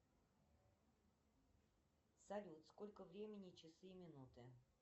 салют сколько времени часы и минуты